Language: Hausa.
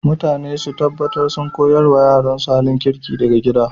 Iyaye su taɓatar sun ƙoyars ma yaransu halin kirki daga gida.